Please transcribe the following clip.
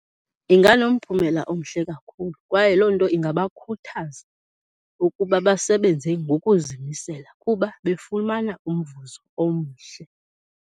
Inganomphumela omhle kakhulu kwaye loo nto ingabakhuthaza ukuba basebenze ngokuzimisela kuba befumana umvuzo omhle.